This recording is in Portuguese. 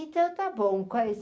Então, está bom. quais